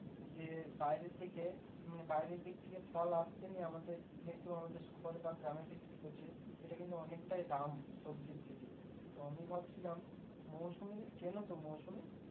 যে বাইরে দিকে মানে বাইরের দিক থেকে ফল আসছে নিয়ে আমাদের কিন্তু আমাদের শহর বা গ্রামে বিক্রি করছে সেটা কিন্তু অনেকটাই দাম সবজির থেকে তো আমি ভাবছিলাম মুসম্বি চেনতো মুসম্বি